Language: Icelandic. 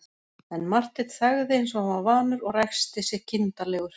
En Marteinn þagði eins og hann var vanur og ræskti sig kindarlegur.